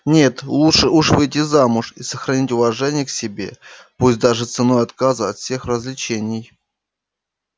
нет лучше уж выйти замуж и сохранить уважение к себе пусть даже ценой отказа от всех развлечений